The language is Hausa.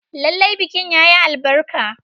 Lallai bikin yayi albarka.